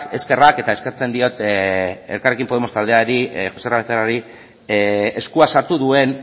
eskerrak eta eskertzen diot elkarrekin podemos taldeari joserra arteagari eskua sartu duen